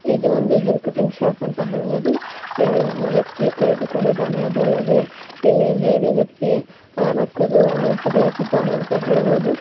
ಇದು ಒಂದು hair cutting shop ಅಂತ ಹೇಳಬಹುದು ಇಲ್ಲಿ ಒಬ್ಬ ವ್ಯಕ್ತಿ ಕುಳಿತುಕೊಂಡಿದ್ದಾನೆ ಅದು ಅಲ್ಲದೆ ಇಲ್ಲಿ ಬೇರೆ ವ್ಯಕ್ತಿ ಅವನ ಕೂದಲನ್ನು ತೆಗೆಯುತ್ತಿದ್ದಾನೆ ಅಂತ ಹೇಳಬಹುದು.